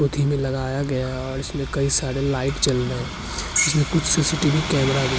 पोथी में लगाया गया है और इसमें कई सारे लाइट जल रहे हैं इसमें कुछ सी.सी.टी.वी. कैमरा भी --